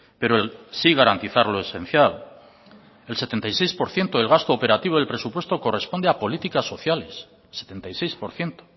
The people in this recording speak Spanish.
pero sí garantizar lo esencial el setenta y seis por ciento del gasto operativo del presupuesto corresponde a políticas sociales el setenta y seis por ciento